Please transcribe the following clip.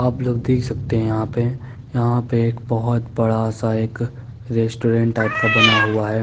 आप लोंग देख सकते है यहाँ पे यहाँ पे एक बहुत बड़ा सा एक रेस्टोरेंट टाइप का बना हुआ है।